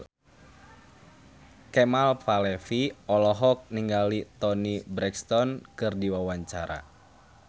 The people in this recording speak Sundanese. Kemal Palevi olohok ningali Toni Brexton keur diwawancara